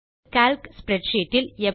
இப்போது Calc spreadsheet